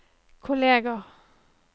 kolleger